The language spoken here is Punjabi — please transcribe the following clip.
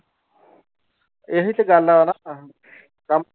ਇਹੀ ਤੇ ਗੱਲ ਆ ਨਾ ਕੰਮ